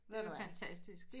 Det er jo fantastisk